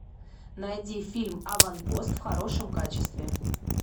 найди фильм аванпост в хорошем качестве